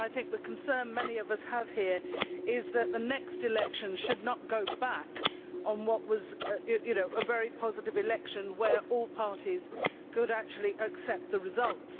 The concern many of us have here is that the next election should not go back on what was a very positive election, where all parties could actually accept the results.